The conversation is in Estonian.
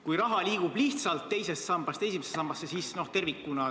Kui raha liigub lihtsalt teisest sambast esimesse sambasse, siis tervikuna ...